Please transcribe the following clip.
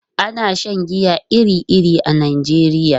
Ana shan giya iri-iri a Najeriya.